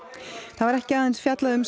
það var ekki aðeins fjallað um